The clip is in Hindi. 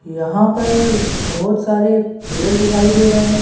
यहां पर बहुत सारे पेड़ दिखाई दे रहे हैं।